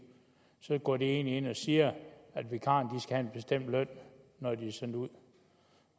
så går man egentlig ind og siger at vikarerne skal have en bestemt løn når de er sendt ud